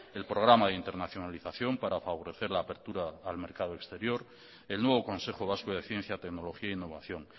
el programa de internacionalización para favorecer la apertura al mercado exterior el nuevo consejo vasco de ciencia tecnología e innovación